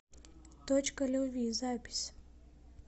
точка любви запись